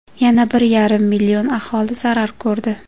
Yana bir yarim million aholi zarar ko‘rdi.